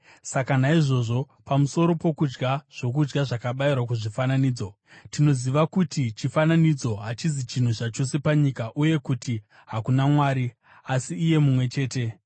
Saka naizvozvo, pamusoro pokudya zvokudya zvakabayirwa kuzvifananidzo: Tinoziva kuti chifananidzo hachizi chinhu zvachose panyika uye kuti hakuna Mwari, asi iye mumwe chete.